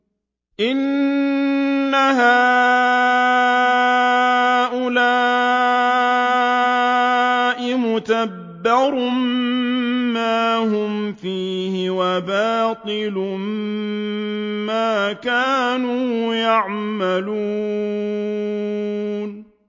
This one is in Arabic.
إِنَّ هَٰؤُلَاءِ مُتَبَّرٌ مَّا هُمْ فِيهِ وَبَاطِلٌ مَّا كَانُوا يَعْمَلُونَ